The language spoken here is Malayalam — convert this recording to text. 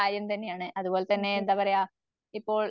അതേ